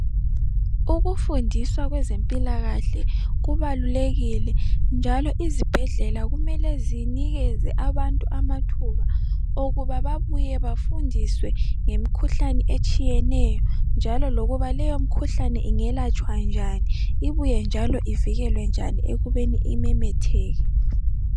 Ukufundisa kwezempilakahle kubalulekile njalo izibhedlela kumele zinikeze abantu amathuba okuba babuye bafundiswe ngemikhuhlane etshiyeneyo njalo lokuba leyo mikhuhlane ingelatshwa njani ibuye njalo ivikelwe njani ekubeni imemetheke.